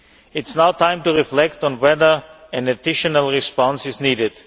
It is now time to reflect on whether an additional response is needed.